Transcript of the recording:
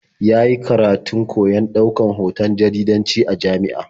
Ya yi karatun koyon ɗaukan hoton jaridanci a jami'a.